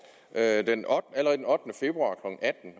allerede den